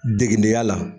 Degedenya la